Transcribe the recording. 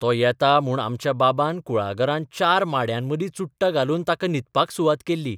तो येता म्हूण आमच्या बाबान कुळागरांत चार माङयांमदी चुट्टां घालून ताका न्हिदपाक सुवात केल्ली.